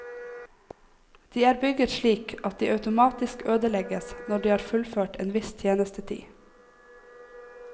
De er bygget slik at de automatisk ødelegges når de har fullført en viss tjenestetid.